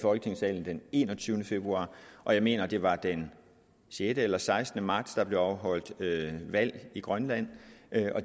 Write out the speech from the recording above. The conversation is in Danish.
folketingssalen den enogtyvende februar og jeg mener det var den sjette eller sekstende marts der blev afholdt valg i grønland